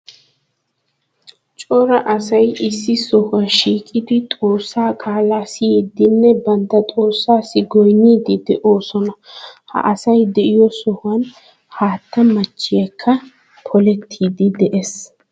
Cora asay issi sohuwa shiiqidi xoossaa qaalaa siyiiddinne bantta xoossaassi goynniiddi de'oosona. Ha asy de'iyo sohuwan haattaa meechchaykka polettiiddi de'ees.